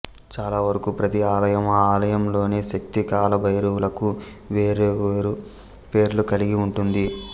చాలావరకు ప్రతి ఆలయం ఆ ఆలయంలోని శక్తి కాలభైరవులకు వేర్వేరు పేర్లను కలిగి ఉంటుంది